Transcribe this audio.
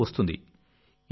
జీతం వస్తుంది